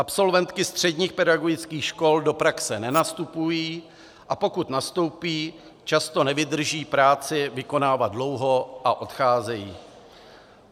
Absolventky středních pedagogických škol do praxe nenastupují, a pokud nastoupí, často nevydrží práci vykonávat dlouho a odcházejí.